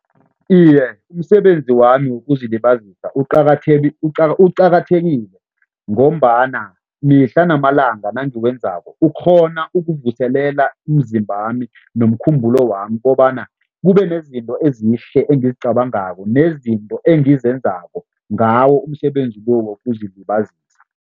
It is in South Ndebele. Iye, umsebenzi wami wokuzilibazisa uqakathekile ngombana mihla namalanga nangiwenzako ukghona ukuvuselela umzimbami nomkhumbulo wami kobana kube nezinto ezihle engizicabangako nezinto engizenzako ngawo umsebenzi lo wokuzilibazisa.